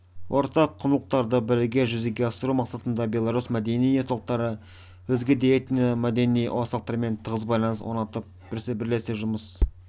ортақ құндылықтарды бірге жүзеге асыру мақсатында белорус мәдени орталықтары өзге де этно-мәдени орталықтарымен тығыз байланыс орнатып бірлесе жұмыс